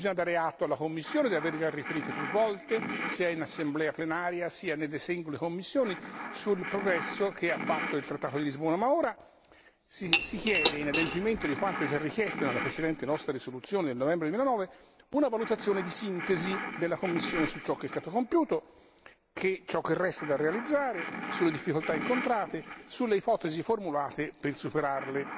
Bisogna dare atto alla Commissione di aver già riferito più volte, sia in assemblea plenaria, sia nelle sedi delle commissioni, sul progresso che ha fatto il trattato di Lisbona, ma ora si chiede, in adempimento di quanto già richiesto nella precedente nostra risoluzione del novembre 2009, una valutazione di sintesi della Commissione su ciò che è stato compiuto, ciò che resta da realizzare, sulle difficoltà incontrate, sulle ipotesi formulate per superarle.